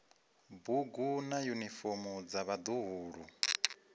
bugu na yunifomo dza vhaḓuhulu